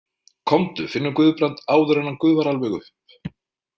Komdu, finnum Guðbrand áður en hann gufar alveg upp.